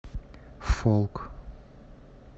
фолк